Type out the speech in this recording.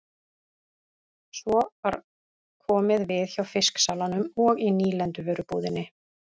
Svo var komið við hjá fisksalanum og í nýlenduvörubúðinni.